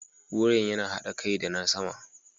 Wuyan yana haɗa kai da na sama.